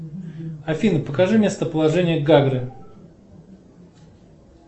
афина покажи местоположение гагры